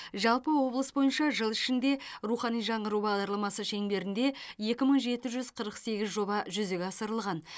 жалпы облыс бойынша жыл ішінде рухани жаңғыру бағдарламасы шеңберінде екі мың жеті жүз қырық сегіз жоба жүзеге асырылған